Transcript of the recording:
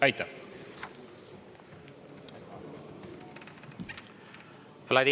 Aitäh!